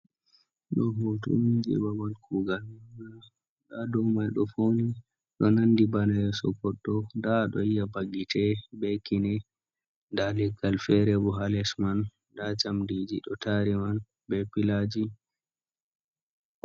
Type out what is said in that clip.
Ɗo hotuni je ɓaɓal kugal. Nɗa ɗow mai ɗo fauni, ɗo nanɗi ɓana yeso goɗɗo. Nɗa aɗo yiya ɓa gi'ete, ɓe kine. Nɗa leggal fere ɓo ha les man. Nɗa jamɗiji ɗo tari man ɓe pilaji.